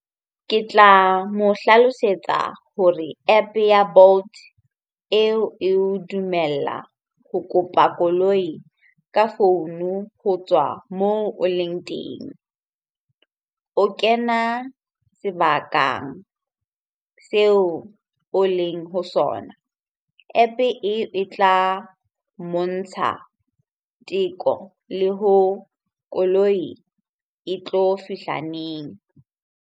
Ke tla mo hlalosetsa hore App-e ya Bolt eo eo dumella ho kopa koloi ka founu ho tswa moo o leng teng. O kena sebaka seo o leng ho sona. App-e e, e tla mmontsha teko le ho koloi e tlo fihla neng?